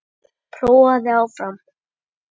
Prófaðu þig áfram!